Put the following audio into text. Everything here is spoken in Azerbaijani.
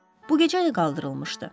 Bu gecə də qaldırılmışdı.